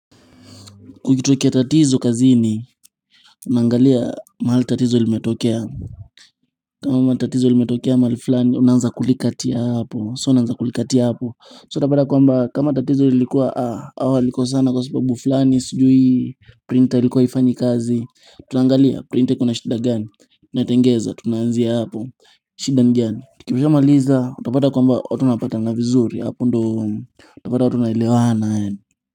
Kukitokea tatizo kazini unaangalia mahali tatizo limetokea kama tatizo limetokea mahali fulani unaanza kulikatia hapo so unaanza kulikatia hapo so utapata kwamba kama tatizo lilikuwa hawa walikosana kwa sababu fulani sijui printer ilikuwa haifanyi kazi tunaangalia printer iko na shida gani tunatengeza tunaanzia hapo shida ni gani tukisha maliza utapata kwamba watu wanapatana vizuri hapo ndo utapata watu wanaelewana.